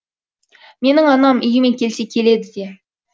менің анам үйіме келсе келеді де